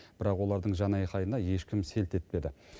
бірақ олардың жанайқайына ешкім селт етпеді